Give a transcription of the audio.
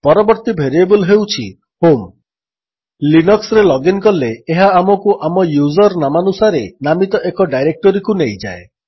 ପରବର୍ତ୍ତୀ ଭେରିଏବଲ୍ ହେଉଛି ହୋମ୍ ଲିନକ୍ସରେ ଲଗିନ୍ କଲେ ଏହା ଆମକୁ ଆମ ୟୁଜର୍ ନାମାନୁସାରେ ନାମିତ ଏକ ଡାଇରେକ୍ଟୋରୀକୁ ନେଇଯାଏ